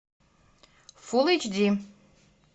фулл эйч ди